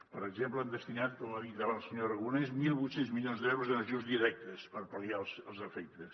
per exemple hem destinat com ha dit ara el senyor aragonès mil vuit cents milions d’euros en ajuts directes per pal·liar ne els efectes